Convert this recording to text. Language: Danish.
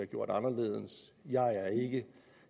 gjort anderledes